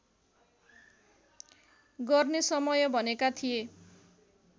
गर्ने समय भनेका थिए